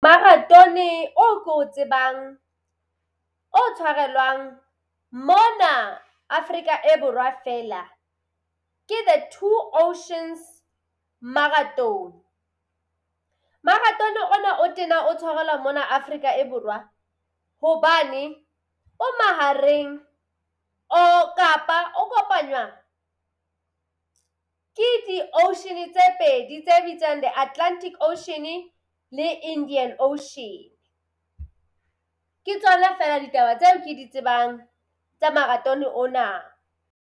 Maratone oo ke o tsebang o tshwarelwang mona Afrika e borwa feela ke the Two Oceans Marathon. Maratone ona o tena o tshwarelwa mona Afrika e Borwa hobane o mahareng o kapa o kopanywa ke di-ocean-e tse pedi tse bitswang The Atlantic Ocean le Indian Ocean. Ke tsona feela ditaba tseo ke di tsebang tsa maratone ona.